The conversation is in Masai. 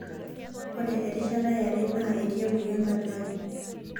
Ore erishata yare naa etii emoyian katikati.